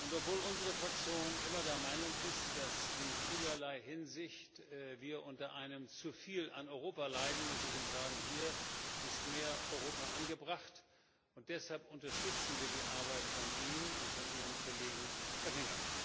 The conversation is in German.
Obwohl unsere Fraktion immer der Meinung ist, dass wir in vielerlei Hinsicht unter einem Zuviel an Europa leiden, muss ich Ihnen sagen Hier ist mehr Europa angebracht, und deshalb unterstützen wir die Arbeit von Ihnen und von Ihrem Kollegen Oettinger.